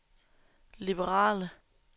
liberale